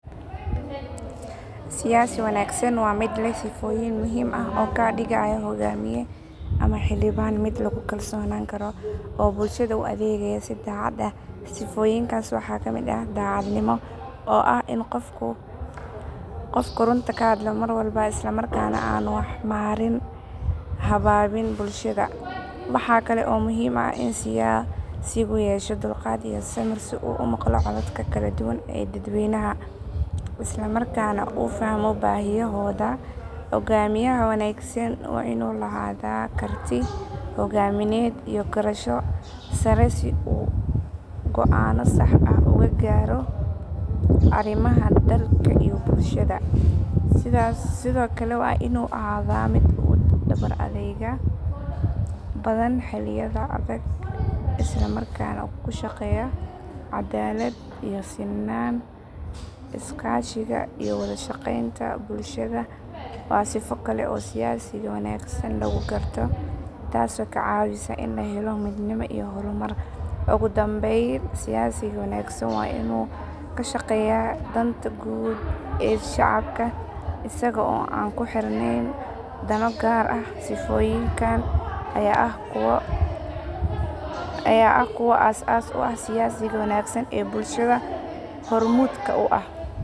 Siyasi wanaagsani waa mid leh sifooyin muhiim ah oo ka dhigaya hoggaamiye ama xildhibaan mid lagu kalsoonaan karo oo bulshada u adeegaya si daacad ah. Sifooyinkaasi waxaa ka mid ah daacadnimo oo ah in qofku runta hadlo mar walba isla markaana aanuu wax marin habaabin bulshada. Waxaa kale oo muhiim ah in siyaasigu yeesho dulqaad iyo samir si uu u maqlo codadka kala duwan ee dadweynaha, isla markaana u fahmo baahiyahooda. Hogaamiyaha wanaagsan waa inuu lahaadaa karti hoggaamineed iyo garasho sare si uu go’aanno sax ah uga gaaro arrimaha dalka iyo bulshada. Sidoo kale waa inuu ahaadaa mid u dhabar adayg badan xilliyada adag isla markaana ku shaqeeya caddaalad iyo sinaan. Iskaashiga iyo wada shaqeynta bulshada waa sifo kale oo siyaasiga wanaagsan lagu garto taasoo ka caawisa in la helo midnimo iyo horumar. Ugu dambeyn siyaasiga wanaagsan waa inuu ka shaqeeyaa danta guud ee shacabka isaga oo aan ku xirneyn dano gaar ah. Sifooyinkan ayaa ah kuwa aas aas u ah siyaasiga wanaagsan ee bulshada hormuudka u ah.